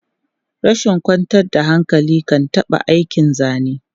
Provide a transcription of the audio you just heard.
Rashin kwantar da hankali kan ɓata aikin zane.